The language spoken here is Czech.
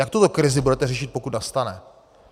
Jak tuto krizi budete řešit, pokud nastane?